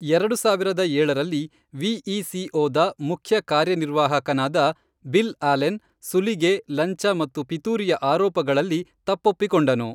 ಎರಡು ಸಾವಿರದ ಏಳರಲ್ಲಿ, ವಿಇಸಿಓದ ಮುಖ್ಯ ಕಾರ್ಯನಿರ್ವಾಹಕನಾದ ಬಿಲ್ ಅಲೆನ್ ಸುಲಿಗೆ, ಲಂಚ ಮತ್ತು ಪಿತೂರಿಯ ಆರೋಪಗಳಲ್ಲಿ ತಪ್ಪೊಪ್ಪಿಕೊಂಡನು.